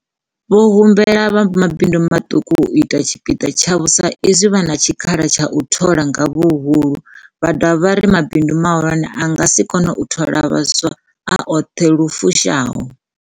Vho humbela vha mabindu maṱuku u ita tshipiḓa tshavho sa izwi vha na tshikhala tsha u thola nga huhulu, vha dovha vha ri mabindu mahulwane a nga si kone u thola vhaswa a oṱhe lu fushaho.